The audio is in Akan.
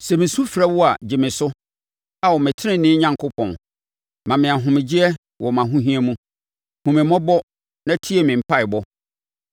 Sɛ mesu frɛ wo a, gye me so, Ao, me tenenee Onyankopɔn. Ma me ahomegyeɛ wɔ mʼahohia mu; hunu me mmɔbɔ na tie me mpaeɛbɔ.